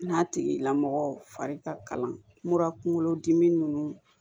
N'a tigilamɔgɔ fari ka kalan kunkolo dimi nunnu